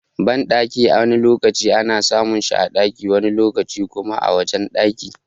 Banɗaki wani lokaci ana samun shi a ɗaki wani lokaci kuma a wajen ɗaki.